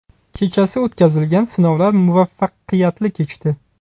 Kechasi o‘tkazilgan sinovlar muvaffaqiyatli kechdi.